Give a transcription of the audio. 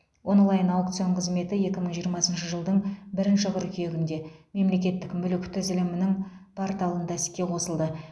онлайн аукцион қызметі екі мың жиырмасыншы жылдың бірінші қыркүйегінде мемлекеттік мүлік тізілімінің порталында іске қосылды